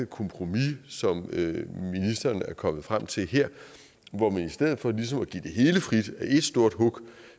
kompromis som ministeren er kommet frem til her hvor man i stedet for ligesom at give det hele frit i et stort hug